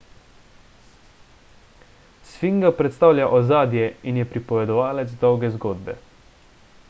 sfinga predstavlja ozadje in je pripovedovalec dolge zgodbe